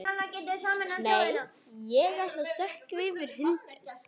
Nei, ég ætla að stökkva yfir hindrun.